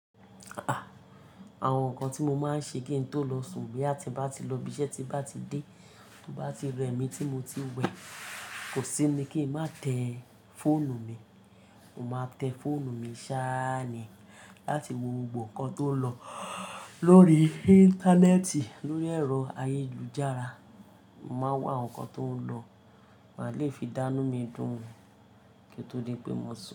Àwọn nǹkan tí mo máa ń ṣe kí n tó lọ sùn bí àti bá ti lọ ibiṣẹ́, tí bá ti dé, to bá ti rẹ mi tí mo ti wẹ, kò sí ni kí ń má tẹ fọ́ọ̀nù mi. Mo máa tẹ fọ́ọ̀nù mi sáàni láti wo gbogbo nǹkan tó ń lọ lórí Íńtánẹ́ẹ̀tì, lórí ẹ̀rọ ayélujára. Mo máa wá nǹkan tó ń lọ, màá le fi dánú mi dùn kí tó di pé mo sùn.